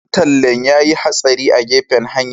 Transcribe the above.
Dan tallen ya yi hatsari a gefen hanya.